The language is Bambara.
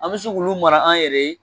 An bɛ se k'olu mara an yɛrɛ ye